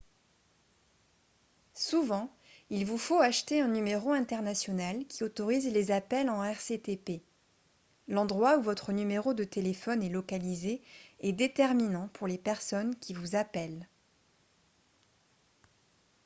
souvent il vous faut acheter un numéro international qui autorise les appels en rctp l'endroit où votre numéro de téléphone est localisé est déterminant pour les personnes qui vous appellent